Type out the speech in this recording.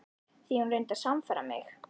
Því hún reyndi að sannfæra mig.